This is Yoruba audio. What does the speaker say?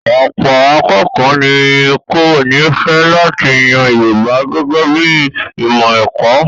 Ọ̀pọ̀ akékọ̀ọ́ ní kò ní fẹ́ láti yan Yorùbá gẹ́gẹ́ bí i ìmọ̀ ẹ̀kọ́.